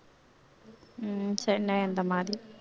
உம் சென்னை அந்த மாரி